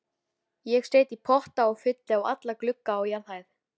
Ég set í potta og fylli alla glugga á jarðhæð.